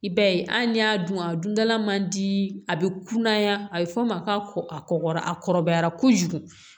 I b'a ye hali ni y'a dun a dundala man di a bɛ kunnaya a bɛ fɔ o ma ko a kɔkɔ a kɔrɔbayara kojugu